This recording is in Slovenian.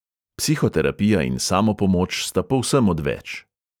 Psihoterapija in samopomoč sta povsem odveč.